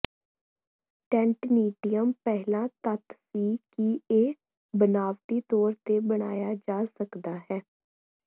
ਟੈਂਟੇਨੀਟਿਅਮ ਪਹਿਲਾ ਤੱਤ ਸੀ ਕਿ ਇਹ ਬਨਾਵਟੀ ਤੌਰ ਤੇ ਬਣਾਇਆ ਜਾ ਸਕਦਾ ਹੈ